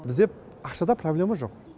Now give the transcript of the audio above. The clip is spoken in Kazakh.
бізде ақшада проблема жоқ